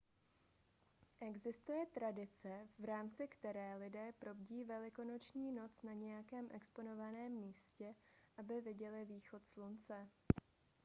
existuje tradice v rámci které lidé probdí velikonoční noc na nějakém exponovaném místě aby viděli východ slunce